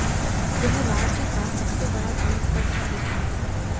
यह राज्य का सबसे बड़ा द्वीप पर स्थित है